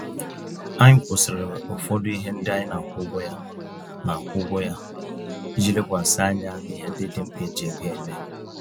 Anyị kwụsịrị ụfọdụ ihe ndị anyị na-akwụ ụgwọ ya, na-akwụ ụgwọ ya, iji lekwasị anya n'ihe ndị dị mkpa eji ego eme.